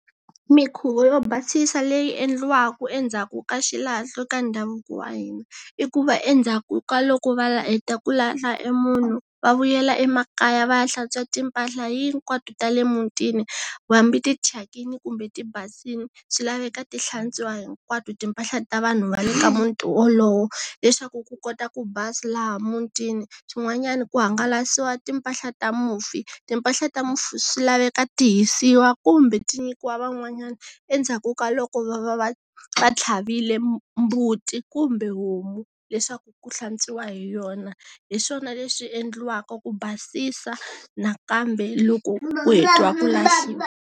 Minkhuvo yo basisa leyi endliwaka endzhaku ka xilahlo ka ndhavuko wa hina i ku va endzhaku ka loko va heta ku lahla munhu va vuyela emakaya va ya hlantswa timpahla hinkwato ta le mutini hambi ti chakini kumbe ti basile swi laveka ti hlantswiwa hinkwato timpahla ta vanhu va le ka muti wolowo leswaku ku kota ku basa laha mutini, swin'wanyana ku hangalasiwa timpahla ta mufi, timpahla ta mufi swi laveka ti hisiwa kumbe ti nyikiwa van'wanyana endzhaku ka loko va va va tlhaverile mbuti kumbe homu leswaku ku hlantswiwa hi yona hi swona leswi endliwaka ku basisa nakambe loko u heta ku lahliwa.